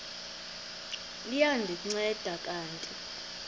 liya ndinceda kanti